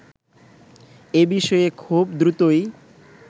এবিষয়ে খুব দ্রুতই